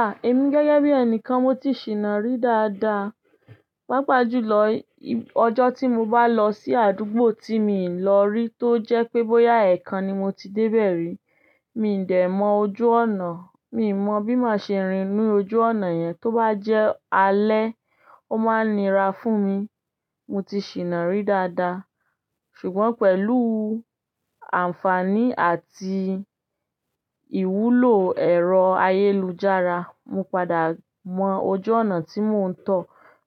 Ah! Èmi gẹ́gẹ́ bí ẹnìkan mo ti sì nàa rí dáadáa. Pápá jùlọ, ọjọ́ tí mo bá lọ sí àdúgbò tí mi n lọ rí tó jẹ́ pé bóyá ẹ̀ẹ̀kan ni mo ti dé bẹ́rẹ́, mi n dẹ̀ mọ ojú ọ̀nà. Mi mọ bí mo se rìn nínú ojú ọ̀nà yẹn, tó bá jẹ́ alẹ́, ó má nira fún mi. Mo ti sì nàrí dáadáa. Ṣùgbọ́n pẹ̀lú àǹfààní àti ìwúlò ẹ̀rọ ayélujára, mo padà mọ ojú ọ̀nà tí mò ń tọ̀.